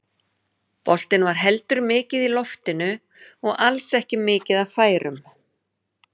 Boltinn var heldur mikið í loftinu og alls ekki mikið af færum.